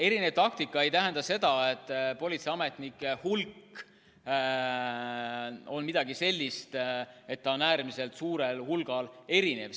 Erinev taktika ei tähenda seda, et politseiametnike hulk oli äärmiselt suurel hulgal erinev.